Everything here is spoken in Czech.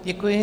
Děkuji.